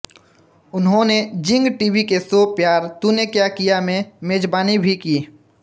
उन्होंने Zing TV के show Pyaar Tune Kya Kiya में मेजबानी भी की